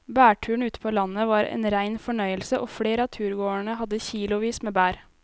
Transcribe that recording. Blåbærturen ute på landet var en rein fornøyelse og flere av turgåerene hadde kilosvis med bær.